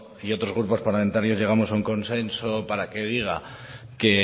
y otros grupo parlamentarios llegamos a un consenso para que diga que